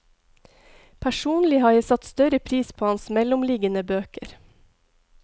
Personlig har jeg satt større pris på hans mellomliggende bøker.